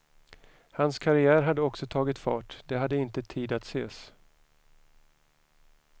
Hans karriär hade också tagit fart, de hade inte tid att ses.